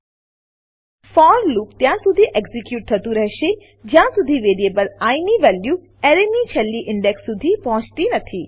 four loop for loop ત્યાંસુધી execute થતું રહેશે જ્યાંસુધી વેરીએબલ આઇ ની વેલ્યુ એરેની છેલ્લી ઇન્ડેક્સ સુધી પહોંચતી નથી